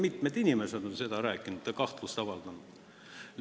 Ma ei mäleta, kes seda rääkinud on, aga mitmed inimesed on seda rääkinud.